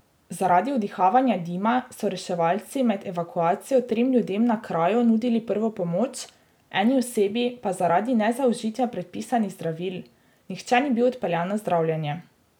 Zaradi vdihavanja dima so reševalci med evakuacijo trem ljudem na kraju nudili prvo pomoč, eni osebi pa zaradi nezaužitja predpisanih zdravil, nihče ni bil odpeljan na zdravljenje.